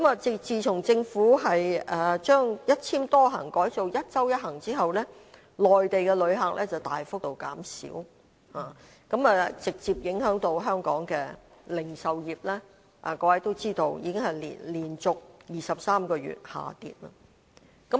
自從政府把"一簽多行"改為"一周一行"之後，內地的旅客大幅減少，直接影響香港的零售業，各位都知道這方面的數字已經是連續23個月下跌。